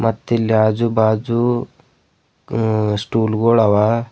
ಮತ್ತಿಲ್ಲಿ ಆಜು ಭಾಜು ಸ್ಟುಲ್ ಗೋಳ ಆವಾ.